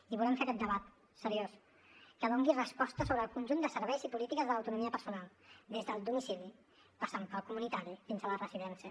i volem fer aquest debat seriós que doni resposta sobre el conjunt de serveis i polítiques de l’autonomia personal des del domicili passant pel comunitari fins a la de residència